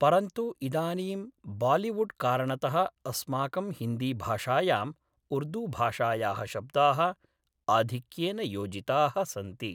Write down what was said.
परन्तु इदानीम् बालिवुड् कारणतः अस्माकं हिन्दि भाषायां उर्दु भाषायाः शब्दाः आधिक्येन योजिताः सन्ति